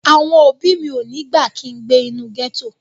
Àwọn òbí mi ò ní gbà kin gbé inú gẹ́tò